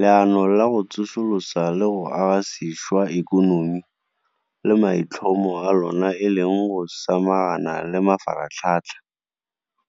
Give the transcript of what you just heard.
Leano la go Tsosolosa le go Aga Sešwa Ikonomi, le maitlhomo a lona e leng go samagana le mafaratlhatlha,